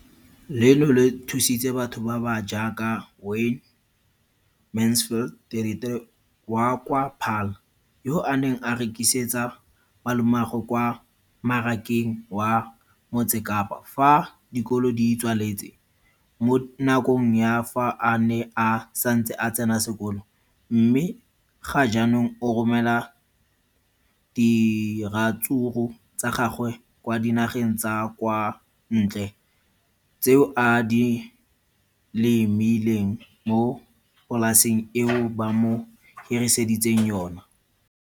Leno le thusitse batho ba ba jaaka Wayne Mansfield, 33, wa kwa Paarl, yo a neng a rekisetsa malomagwe kwa Marakeng wa Motsekapa fa dikolo di tswaletse, mo nakong ya fa a ne a santse a tsena sekolo, mme ga jaanong o romela diratsuru tsa gagwe kwa dinageng tsa kwa ntle tseo a di lemileng mo polaseng eo ba mo hiriseditseng yona.